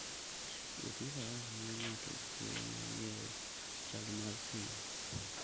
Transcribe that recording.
Wuoth gi faras miyo ng'ato thuolo mar ng'eyo chal mar thim.